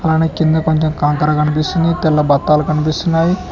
అలానే కింద కొంచెం కంకర కనిపిస్తుంది తెల్ల బత్తాలు కనిపిస్తున్నాయి.